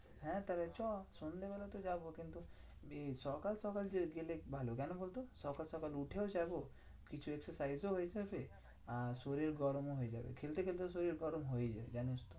হ্যাঁ তাহলে চো সন্ধেবেলা তো যাবো কিন্তু এ সকাল সকাল যদি গেলে ভালো কেন বলতো? সকাল সকাল উঠেও যাবো। কিছু exercise ও হয়ে যাবে। আর শরীর গরমও হয়ে যাবে। খেলতে খেলতে তো শরীর গরম হয়েই যায় জানিসতো?